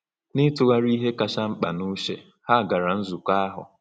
N’ịtụgharị ihe kacha mkpa n’uche, ha gara nzukọ ahụ.